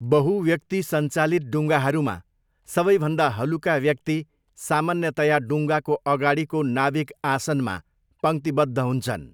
बहु व्यक्ति सञ्चालित डुङ्गाहरूमा, सबैभन्दा हलुका व्यक्ति सामान्यतया डुङ्गाको अगाडिको नाविक आसनमा पङ्क्तिबद्ध हुन्छन्।